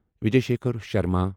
Vijay Shekhar Sharma